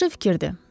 Yaxşı fikirdir.